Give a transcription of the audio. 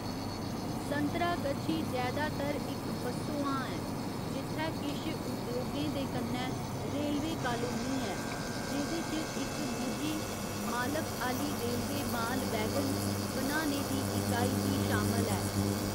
संतरागछी जैदातर इक बस्सोआं ऐ जित्थै किश उद्योगें दे कन्नै रेलवे कालोनी ऐ, जेह्दे च इक निजी मालक आह्‌ली रेलवे माल वैगन बनाने दी इकाई बी शामल ऐ।